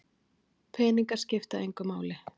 Peningar skipta engu máli